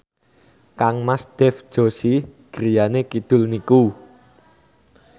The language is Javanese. kangmas Dev Joshi griyane kidul niku